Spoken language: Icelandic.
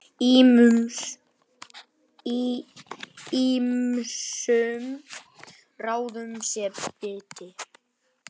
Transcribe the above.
Ýmsum ráðum sé beitt.